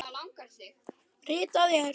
Ritað er